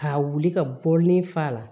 Ka wuli ka bɔlini fa la